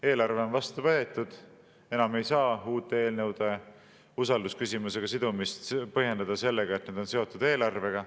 Eelarve on vastu võetud, enam ei saa uute eelnõude usaldusküsimusega sidumist põhjendada sellega, et need on seotud eelarvega.